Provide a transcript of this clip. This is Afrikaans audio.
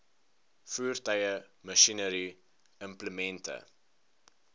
voertuie masjinerie implemente